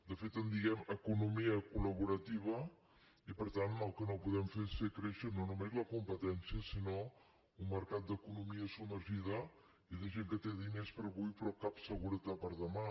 de fet en diem economia colel que no podem fer és fer créixer no només la competència sinó un mercat d’economia submergida i de gent que té diners per avui però cap seguretat per demà